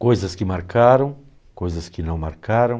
Coisas que marcaram, coisas que não marcaram,